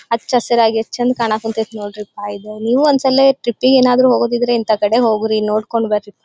ಹಚ್ಚ್ ಹಸಿರಾಗಿ ಎಷ್ಟು ಚಂದ್ ಕಾನಕತಥಿ ನೊಡ್ರಿಪ ಇದು ನೀವು ಒಂದ್ ಸಲಿ ಟ್ರಿಪ್ಗೆ ಹೋಗೋದಿದ್ರೆ ಇಂತ ಕಡೆ ಹೋಗ್ರಿ ನೊಡುಕೊಂಡು ಬರ್ರಿ.